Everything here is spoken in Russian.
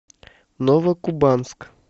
новокубанск